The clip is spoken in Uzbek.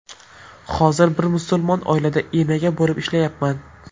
Hozir bir musulmon oilada enaga bo‘lib ishlayapman.